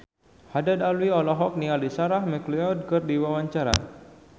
Haddad Alwi olohok ningali Sarah McLeod keur diwawancara